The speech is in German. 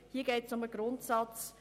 Hier geht es um den Grundsatz.